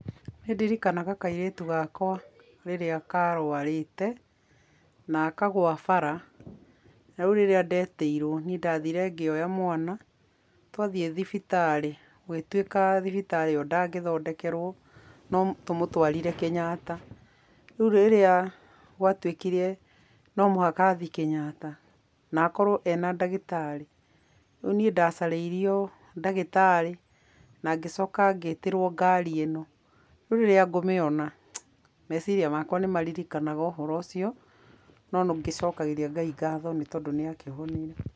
Nĩndirikanaga kairĩtu gakwa rĩrĩa karwarĩte na akagwa bara na rĩu rĩrĩa ndetĩirwo niĩ ndathire ngĩoya mwana, twathiĩ thibitarĩ gũgĩtuĩka thibitarĩ ĩyo ndangĩthondekerwo no tũmũtwarire Kenyatta, rĩu rĩrĩa gwatuĩkire no mũhaka athiĩ Kenyatta na akorwo ena ndagĩtarĩ rĩu niĩ ndacarĩirio ndagĩtarĩ na ngĩcoka ngĩtĩrwo ngari ĩno, rĩu rĩrĩa ngũmĩona meciria makwa nĩmaririkanaga ũhoro ũcio, no nongĩcokagĩria Ngai ngatho nĩ tondũ nĩ akĩhonire.